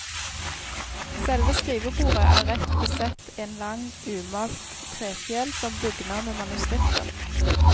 Selve skrivebordet er rett besett en lang, umalt trefjel, som bugner med manuskripter.